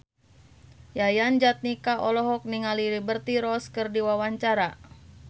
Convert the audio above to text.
Yayan Jatnika olohok ningali Liberty Ross keur diwawancara